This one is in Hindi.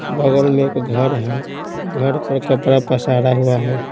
बगल में एक घर है घर पर कपड़ा पसारा हुआ है।